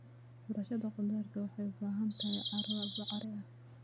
Beerashada khudaarta waxay u baahan tahay carro bacrin ah.